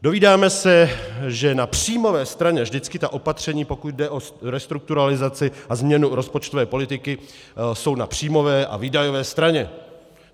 Dovídáme se, že na příjmové straně - vždycky ta opatření, pokud jde o restrukturalizaci a změnu rozpočtové politiky, jsou na příjmové a výdajové straně.